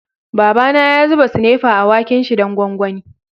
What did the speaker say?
Baba na ya zuba sinepa a waken' shi dan gwangwani.